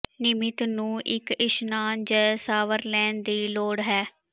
ਨਿਯਮਿਤ ਨੂੰ ਇੱਕ ਇਸ਼ਨਾਨ ਜ ਸ਼ਾਵਰ ਲੈਣ ਦੀ ਲੋੜ ਹੈ